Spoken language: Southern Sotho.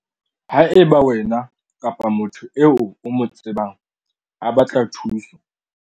Haeba wena kapa motho eo o mo tsebang a batla thuso,